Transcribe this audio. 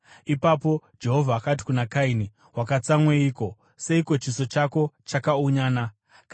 Ipapo Jehovha akati kuna Kaini, “Wakatsamweiko? Seiko chiso chako chakaunyana?